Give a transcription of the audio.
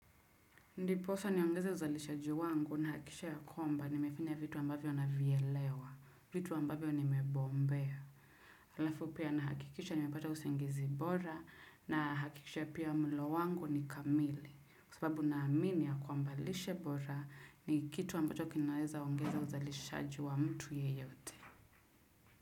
Ndiposa niongeze uzalishaji wangu na kisha ya kwamba nimefanya vitu ambavyo na vielewa, vitu ambavyo ni mebombea. Halafu pia na hakikisha ni mepata usingizi bora na hakikisha pia mlo wangu ni kamili. Kwasababu na amini ya kwamba lishebora ni kitu ambacho kinaweza ongeze uzalishaji wa mtu yeyote.